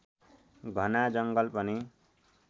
घना जङ्गल पनि